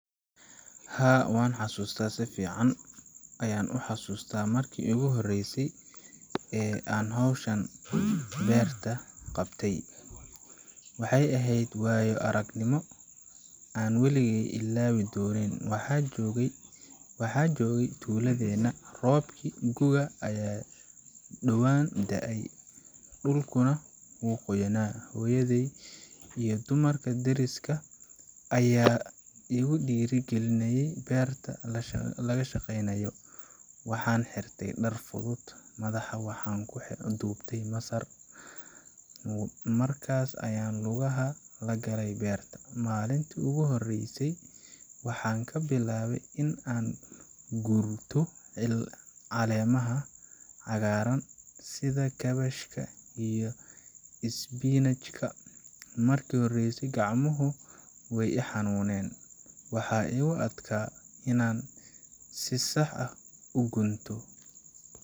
Haa, waan xasuusta si fiican ayaan u xasuustaa markii ugu horreysay ee aan hawshan beerta qabtay. Waxay ahayd waayo-aragnimo aan waligeey ilaawi doonin. Waxaan joogay tuuladeenna, roobabkii gu'ga ayaa dhowaan da’ay, dhulkuna wuu qoyanaa. Hooyaday iyo dumarka deriska ah ayaa igu dhiirrigeliyay inaan beerta la shaqeeyo. Waxaan xirtay dhar fudud, madaxa waxaan ku duubtay masar, markaas ayaan lugaha la galay beerta. Maalintii ugu horreysay waxaan ka bilaabay in aan gurto caleemaha cagaaran sida kaabashka iyo isbinaajka. Markii hore gacmuhu way i xanuuneen, waxaa igu adkaa inaan si sax ah u gunto.